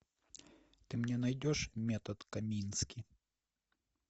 ты мне найдешь метод комински